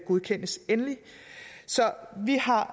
godkendes endeligt så vi har